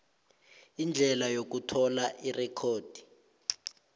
indlela yokuthola irekhodi